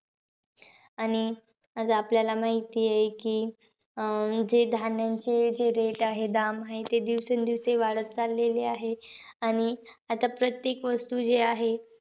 आणि आज आपल्याला माहितीयं की, अं जे धान्याचे जे rate आहे, दाम आहे. ते दिवसेंदिवस वाढत चालले आहे. आणि आता प्रत्येक वस्तू जी आहे,